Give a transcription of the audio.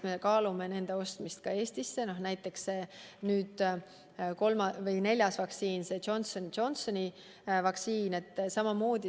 Me kaalume näiteks ka selle neljanda vaktsiini, Johnson & Johnsoni vaktsiini ostmist.